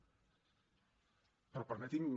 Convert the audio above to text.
però permeti’m